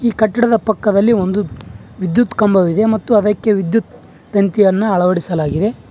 ಪಕ್ಕದಲ್ಲಿ ಒಂದು ವಿದ್ಯುತ್ ಕಂಬವಿದೆ ಮತ್ತು ಅದಕ್ಕೆ ವಿದ್ಯುತ್ ತಂತಿಯನ್ನು ಅಳವಡಿಸಲಾಗಿದೆ.